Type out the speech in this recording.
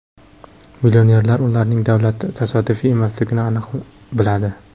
Millionerlar ularning davlati tasodifiy emasligini aniq biladi.